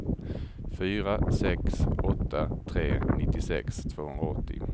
fyra sex åtta tre nittiosex tvåhundraåttio